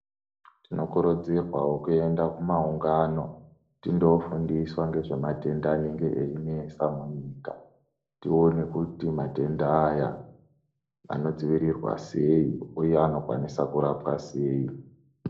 Tinokurudzirwawo kuenda kumaungano tindofundiswa ngezvematenda anenge einesa munyika tione kuti matenda Aya anodzivirirwa sei uye anokwanisa kurapwa sei.